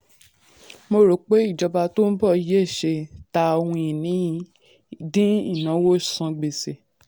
mo rò pé ìjọba tó n bọ̀ yẹ ṣe: ta ohun-ìní dín ìnáwó san gbèsè.